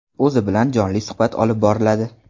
O‘zi bilan jonli suhbat olib boriladi.